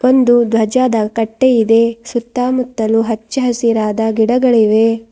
ಒಂದು ಧ್ವಜದ ಕಟ್ಟೆ ಇದೆ ಸುತ್ತಮುತ್ತಲು ಹಚ್ಚಸಿರಾದ ಗಿಡಗಳಿವೆ.